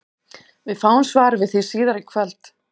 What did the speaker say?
Við fáum svar við því síðar í kvöld!